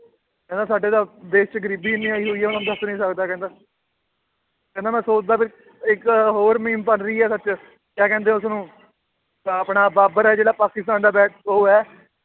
ਕਹਿੰਦਾ ਸਾਡੇ ਤਾਂ ਦੇਸ 'ਚ ਗ਼ਰੀਬ ਇੰਨੀ ਆਈ ਹੋਈ ਹੈ ਹੁਣ ਦੱਸ ਨੀ ਸਕਦਾ ਕਹਿੰਦਾ ਕਹਿੰਦਾ ਮੈਂ ਸੋਚਦਾ ਵੀ ਇੱਕ ਹੋਰ ਸੱਚ ਕਿਆ ਕਹਿੰਦੇ ਉਸਨੂੰ ਆਹ ਆਪਣਾ ਬਾਬਰ ਹੈ ਜਿਹੜਾ ਪਾਕਿਸਤਾਨ ਦਾ ਉਹ ਹੈ